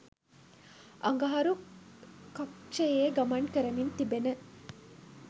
අඟහරු කක්ෂයේ ගමන් කරමින් තිබෙන